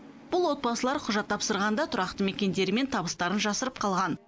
бұл отбасылар құжат тапсырғанда тұрақты мекендері мен табыстарын жасырып қалған